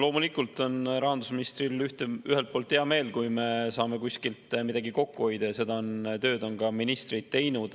Loomulikult on rahandusministril ühelt poolt hea meel, kui me saame kuskilt midagi kokku hoida, ja seda tööd on ministrid teinud.